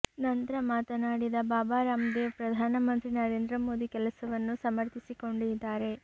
ನಂತ್ರ ಮಾತನಾಡಿದ ಬಾಬಾ ರಾಮ್ದೇವ್ ಪ್ರಧಾನ ಮಂತ್ರಿ ನರೇಂದ್ರ ಮೋದಿ ಕೆಲಸವನ್ನು ಸಮರ್ಥಿಸಿಕೊಂಡಿದ್ದಾರೆ